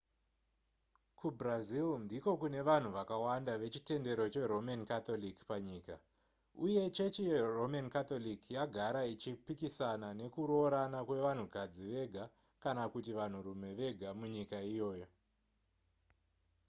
kubrazil ndiko kune vanhu vakawanda vechitendero cheroman catholic panyika uye chechi yeroman catholic yagara ichipikisana nekuroorana kwevanhukadzi vega kana kuti vanhurume vega munyika iyoyo